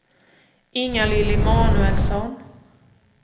Inga-Lill Emanuelsson